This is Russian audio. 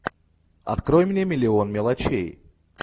открой мне миллион мелочей